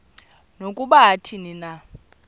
nokuba athini na